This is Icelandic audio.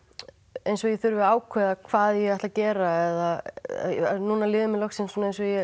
eins og ég þurfi að ákveða hvað ég ætli að gera núna líður mér loksins eins og ég